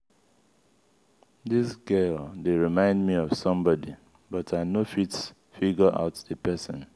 dis girl dey remind me of somebody but i no fit figure out the person.